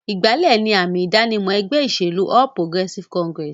Ìgbálẹ̀ ni àmì-ìdánimọ̀ ẹgbẹ́ ìṣèlú All Progressive Congress.